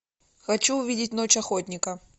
хочу увидеть ночь охотника